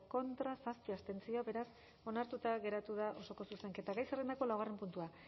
contra zazpi abstentzio beraz onartuta geratu da osoko zuzenketa gai zerrendako laugarren puntua